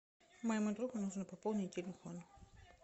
моему другу нужно пополнить телефон